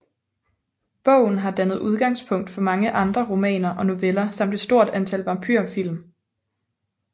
Bogen har dannet udgangspunkt for mange andre romaner og noveller samt et stort antal vampyrfilm